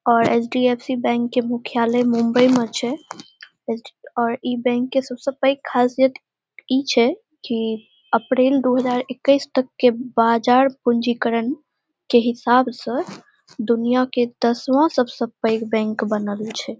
और HDFC. Bank के मुख्यालय मुंबई में छै और इ बैंक के सबसे पेग खासियत ई छै की अप्रैल दू हज़ार इक्कीस तक के बाद बाजार पूंजीकरण के हिसाब से दुनिया के दसवां सबसे पेग बैंक बनल छै।